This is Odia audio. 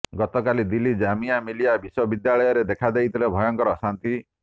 ଗତକାଲି ଦିଲ୍ଲୀ ଜାମିଆ ମିଲିୟା ବିଶ୍ବବିଦ୍ୟାଳୟରେ ଦେଖାଦେଇଥିଲେ ଭୟଙ୍କର ଅଶାନ୍ତି